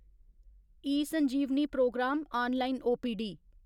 eSanjeevani programme online OPD